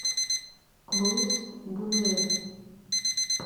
луис бунюэль